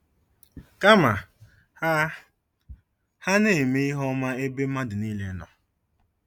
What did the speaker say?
Kama, ha ha “na-eme ihe ọma n’ebe mmadụ niile nọ.